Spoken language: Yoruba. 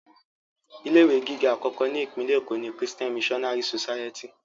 Ilé ìwé gíga àkọ́kọ́ ni Ìpínlẹ̀ Èkó ni Christian Missionary society